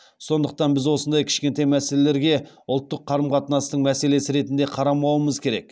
сондықтан біз осындай кішкентай мәселелерге ұлттық қарым қатынастың мәселесі ретінде қарамауымыз керек